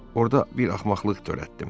Orada bir axmaqlıq törətdim.